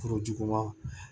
Foro juguman